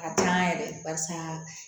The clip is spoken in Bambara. A diya n yɛrɛ barisa